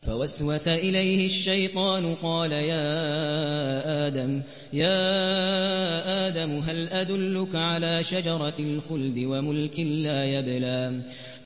فَوَسْوَسَ إِلَيْهِ الشَّيْطَانُ قَالَ يَا آدَمُ هَلْ أَدُلُّكَ عَلَىٰ شَجَرَةِ الْخُلْدِ وَمُلْكٍ لَّا يَبْلَىٰ